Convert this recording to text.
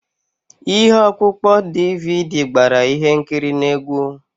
Ihe ọkpụkpọ DVD gbara ihe nkiri na egwu.